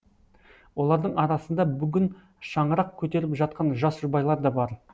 олардың арасында бүгін шаңырақ көтеріп жатқан жас жұбайлар да бар